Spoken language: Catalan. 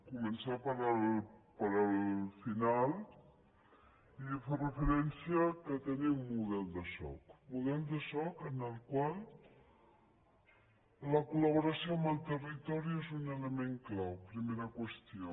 co·mençar pel final i fer referència a què tenim un model de soc model de soc en el qual la col·laboració amb el territori és un element clau primera qüestió